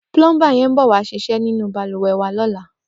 Plọmbá yèn bọ̀wá ṣisẹ̀ ninú bàlúwẹ̀ wà lọ̀lá